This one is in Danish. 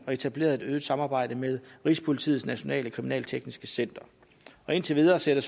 og etableret et øget samarbejde med rigspolitiets nationale kriminaltekniske center indtil videre ser